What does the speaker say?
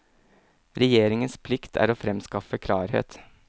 Regjeringens plikt er å fremskaffe klarhet.